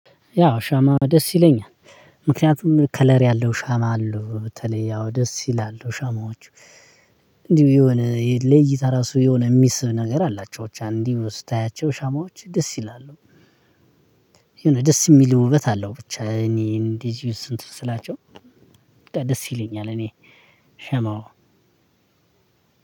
ያው ሻማ ደስ ይለኛል። ምክንያቱም ከለር ያለው ሻማ አሉ በተለይ ያው ደስ ይላሉ ሻማዎቹ እንዲሁ የሆነ ለይታ እራሱ የሆነ የሚስብ ነገር አላቸው ብቻ እንድሁ ስታያቸው ሻማዎች ደስ ይላሉ። የሆነ ደስ የሚል ውበት አለው። ብቻ እኔ እንድህ እንትን ስላቸው ደስ ይለኛል እኔ። ሸማው